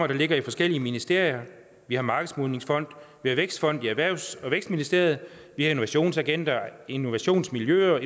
der ligger i forskellige ministerier vi har markedsmodningsfonden vi har vækstfonden i erhvervsministeriet vi har innovationsagenter innovationsmiljøer og